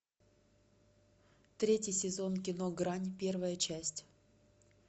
третий сезон кино грань первая часть